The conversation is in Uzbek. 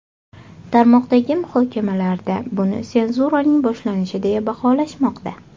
Tarmoqdagi muhokamalarda buni senzuraning boshlanishi deya baholashmoqda.